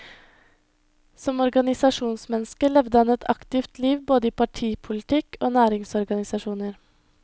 Som organisasjonsmenneske levde han et aktivt liv både i partipolitikk og næringsorganisasjoner.